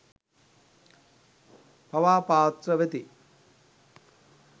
පවා පාත්‍ර වෙති.